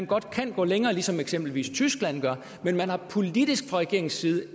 godt kan gå længere som eksempelvis tyskland gør men politisk fra regeringens side